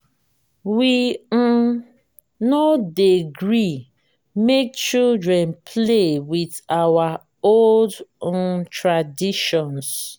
we um no dey gree make children play with our old um traditions.